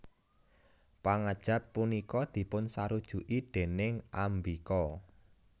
Pangajap punika dipunsarujuki déning Ambika